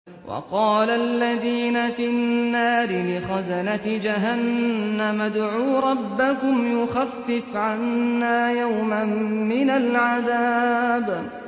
وَقَالَ الَّذِينَ فِي النَّارِ لِخَزَنَةِ جَهَنَّمَ ادْعُوا رَبَّكُمْ يُخَفِّفْ عَنَّا يَوْمًا مِّنَ الْعَذَابِ